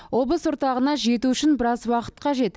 облыс орталығына жету үшін біраз уақыт қажет